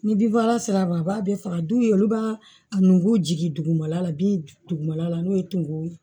Ni bin fagala sera a ma a b'a bɛɛ faga duu ye olu b'a a nugu jigin dugumala la bin dugumala la n'o ye tumu ye